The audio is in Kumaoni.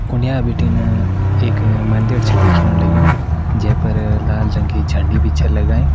उण्या भिटिन एक मंदिर छा दिखयाण लगयूं जे पर लाल रंग की झंडी भी छै लगाईं।